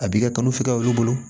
A b'i ka kalo filanan olu bolo